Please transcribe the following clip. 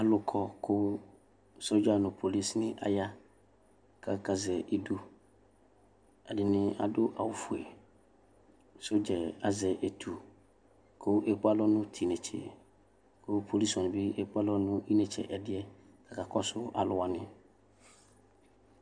Alʋ kɔ kʋ sɔdza nʋ polisinɩ aya kʋ akazɛ idu Ɛdɩnɩ adʋ awʋfue Sɔdza yɛ azɛ etu kʋ ekpe alɔ nʋ tʋ inetse kʋ polisi wanɩ bɩ ekpe alɔ nʋ inetse ɛdɩ kakɔsʋ alʋ wanɩ